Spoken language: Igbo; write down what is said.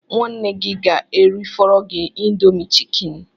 Nwanne gị ga-erifọrọ gị Indomi chikeni